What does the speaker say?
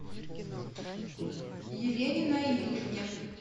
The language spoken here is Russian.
елене наильевне